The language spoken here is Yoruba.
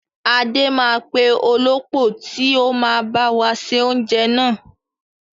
Adé máa pè olópò tíì ó máa báwa ṣe oúnjẹ náà